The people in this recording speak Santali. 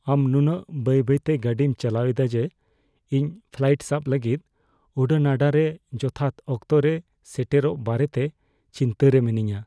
ᱟᱢ ᱱᱩᱱᱟᱹᱜ ᱵᱟᱹᱭ ᱵᱟᱹᱭᱛᱮ ᱜᱟᱹᱰᱤᱢ ᱪᱟᱞᱟᱣ ᱮᱫᱟ ᱡᱮ ᱤᱧ ᱯᱷᱞᱟᱭᱤᱴ ᱥᱟᱵᱽ ᱞᱟᱹᱜᱤᱫ ᱩᱰᱟᱹᱱᱟᱰᱟ ᱨᱮ ᱡᱚᱛᱷᱟᱛ ᱚᱠᱛᱚ ᱨᱮ ᱥᱮᱴᱮᱨᱚᱜ ᱵᱟᱨᱮᱛᱮ ᱪᱤᱱᱛᱟᱹ ᱨᱮ ᱢᱤᱱᱟᱹᱧᱼᱟ ᱾